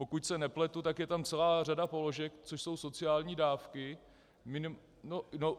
Pokud se nepletu, tak je tam celá řada položek, což jsou sociální dávky.